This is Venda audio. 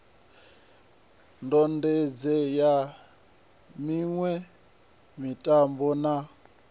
ndode sa miṋwe mitambo na